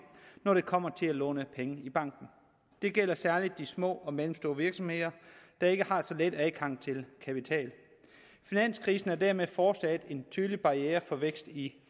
når det kommer til at låne penge i banken det gælder særlig de små og mellemstore virksomheder der ikke har så let adgang til kapital finanskrisen er dermed fortsat en tydelig barriere for vækst i